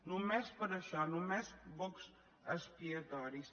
només per a això només bocs expiatoris